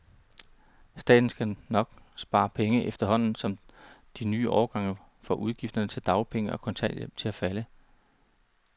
Staten skal nu nok spare penge, efterhånden som de nye årgange får udgifterne til dagpenge og kontanthjælp til at falde.